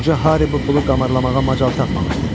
Qoca Hari bu pulu qarmalamağa macal tapmamışdı.